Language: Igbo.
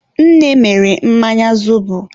nne mere mmanya zobo.